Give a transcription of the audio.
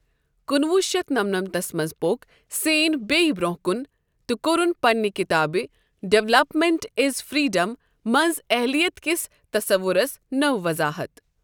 کُنہٕ وُہ شتھ نمنمتس منز ، پو٘ك سین بییہ بر٘ونہہ كُن تہٕ كورُن پننہِ كِتابہِ ڈیولپمینٹ ایز فر٘یڈم منز اہلِیت كِس تصورس نٕو وضاحت ۔